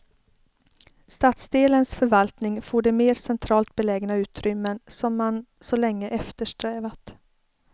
Stadsdelens förvaltning får de mer centralt belägna utrymmen som man så länge eftersträvat.